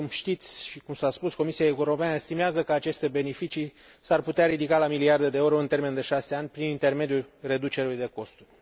Așa cum știți și cum s a spus, Comisia Europeană estimează că aceste beneficii s ar putea ridica la miliarde de euro în termen de șase ani, prin intermediul reducerilor de costuri.